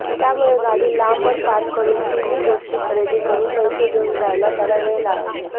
त्यामुळे गाडी लांबवर पार्क करून तिन्ही गोष्टी खरेदी करून पैसे देऊन जायला त्याला वेळ लागायचा